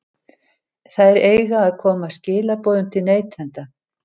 Þær eiga að koma skilaboðum til neytenda.